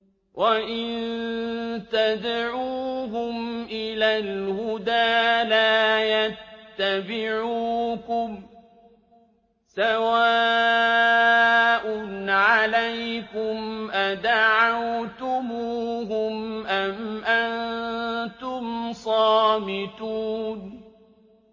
وَإِن تَدْعُوهُمْ إِلَى الْهُدَىٰ لَا يَتَّبِعُوكُمْ ۚ سَوَاءٌ عَلَيْكُمْ أَدَعَوْتُمُوهُمْ أَمْ أَنتُمْ صَامِتُونَ